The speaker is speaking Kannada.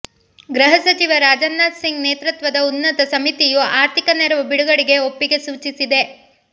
ಗೃಹ ಸಚಿವ ರಾಜನಾಥ್ ಸಿಂಗ್ ನೇತೃತ್ವದ ಉನ್ನತ ಸಮಿತಿಯು ಆರ್ಥಿಕ ನೆರವು ಬಿಡುಗಡೆಗೆ ಒಪ್ಪಿಗೆ ಸೂಚಿಸಿದೆ